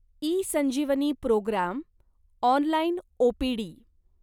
eSanjeevani programme online OPD